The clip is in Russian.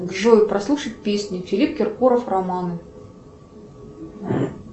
джой прослушать песню филипп киркоров романы